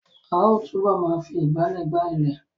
A ó túbọ̀ ma fi ìgbálẹ̀ gbá ilẹ̀